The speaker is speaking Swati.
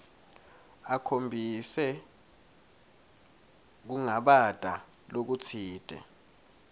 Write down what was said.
akhombise kungabata lokutsite